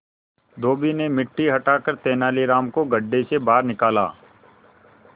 धोबी ने मिट्टी हटाकर तेनालीराम को गड्ढे से बाहर निकाला